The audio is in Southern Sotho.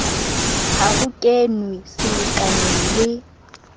ha ho kenwe selekaneng le